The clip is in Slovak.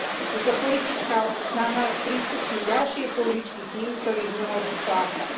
Je to politická snaha sprístupniť ďalšie pôžičky tým, ktorí ich nemôžu splácať.